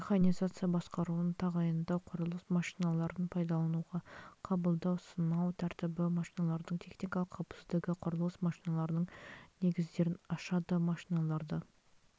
механизация басқаруын тағайындау құрылыс машиналарын пайдалануға қабылдау сынау тәртібі машиналардың техникалық қауіпсіздігі құрылыс машиналарының негіздерін ашады машиналарды